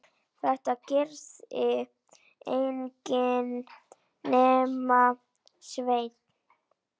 Þetta gerði enginn nema Sveinn.